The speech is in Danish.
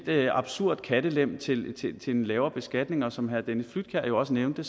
lidt absurd kattelem til en lavere beskatning og som herre dennis flydtkjær jo også nævnte